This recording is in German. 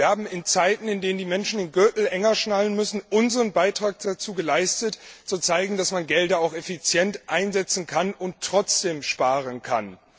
Wir haben in Zeiten, in denen die Menschen ihren Gürtel enger schnallen müssen, unseren Beitrag dazu geleistet, zu zeigen, dass man Gelder auch effizient einsetzen und trotzdem sparen kann.